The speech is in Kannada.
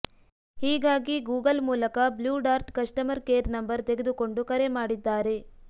ಹೀಗಾಗಿ ಗೂಗಲ್ ಮೂಲಕ Blue Dart customer care number ತೆಗೆದುಕೊಂಡು ಕರೆ ಮಾಡಿದ್ದಾರೆ